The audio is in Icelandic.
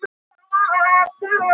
Enga aðra vinnu var að fá.